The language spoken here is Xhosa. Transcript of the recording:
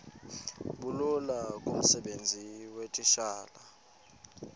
bulula kumsebenzi weetitshala